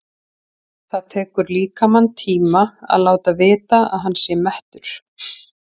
Það tekur líkamann tíma að láta vita að hann sé mettur.